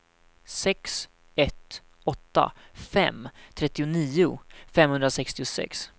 sex ett åtta fem trettionio femhundrasextiosex